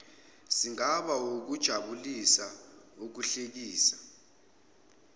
singabala ukujabulisa ukuhlekisa